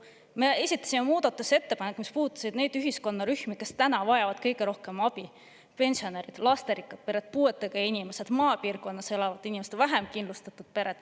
Me esitasime muudatusettepanekud, mis puudutasid neid ühiskonnarühmi, kes täna vajavad kõige rohkem abi: pensionärid, lasterikkad pered, puuetega inimesed, maapiirkonnas elavad inimesed, vähem kindlustatud pered.